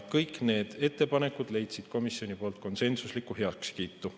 Kõik need ettepanekud leidsid komisjoni konsensusliku heakskiidu.